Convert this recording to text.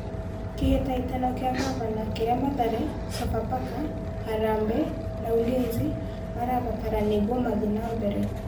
Kĩhĩtahĩtano kĩa Ngavana: kĩrĩa Mathare, Sofapaka, Harambe na Ulinzi marabatara nĩguo mathiĩ na mbere